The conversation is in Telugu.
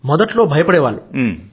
మొదట్లో భయపడే వాళ్లు